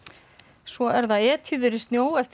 svo er það Etýður í snjó eftir